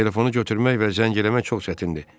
Telefonu götürmək və zəng eləmək çox çətindir.